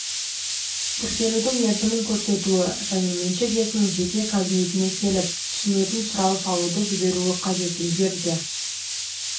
тіркелудің мерзімін көрсетуі және меншік иесінің жеке кабинетіне келіп түсетінсұрау салуды жіберуі қажет егер де